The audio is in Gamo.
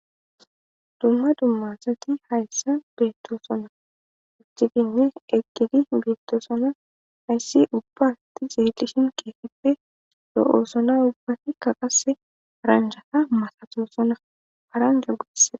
dumma dummasati hayssa beettoosona utidinne eggili beettoosona hayssi ubbaasti zeelishin keefippe do7oosona ubbati ka qase ranjata masatoosona haran jagguisse